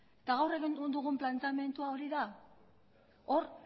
eta gaur egin dugun planteamendua hori da hor